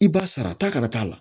I b'a sara ta kana t'a la